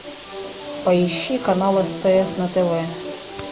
поищи канал стс на тв